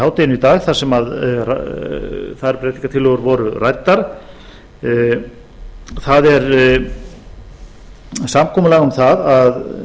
hádeginu í dag þar sem þær breytingartillögur voru ræddar það er samkomulag um það að